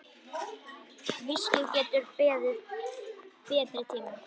Viskíið getur beðið betri tíma.